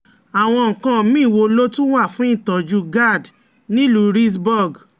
Àwọn nǹkan míì wo ló tún wà fún ìtọ́jú GAD nílùú Reedsburg?